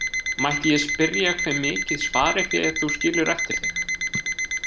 Mætti ég spyrja hve mikið sparifé þú skilur eftir þig?